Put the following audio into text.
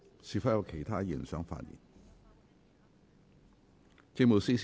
是否有其他議員想發言？